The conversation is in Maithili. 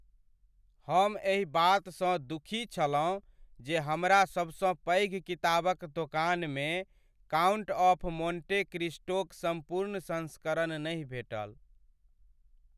हम एहि बातसँ दुखी छलहुँ जे हमरा सबसँ पैघ किताबक दोकानमे "काउंट ऑफ मोंटे क्रिस्टो"क सम्पूर्ण संस्करण नहि भेटल।